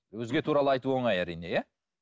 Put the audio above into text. өзге туралы айту оңай әрине иә